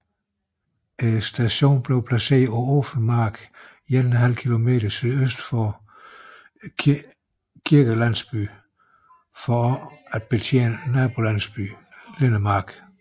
Stationen blev placeret på åben mark 1½ km sydøst for kirkelandsbyen for også at betjene nabolandsbyen Lidemark